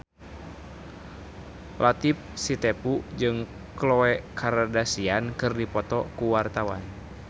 Latief Sitepu jeung Khloe Kardashian keur dipoto ku wartawan